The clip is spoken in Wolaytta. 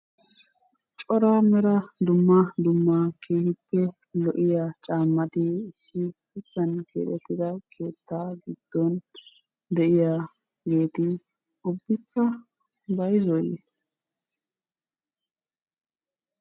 Cora Mera dumma dumma keehippe lo'iya caammati issi shuchchan keexettida keettaa giddon de'iyageeti ubbikka bayizooyye?